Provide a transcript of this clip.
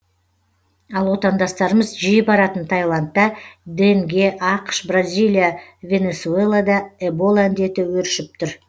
ал отандастарымыз жиі баратын тайландта денге ақш бразилия венесуэлада эбола індеті өршіп тұр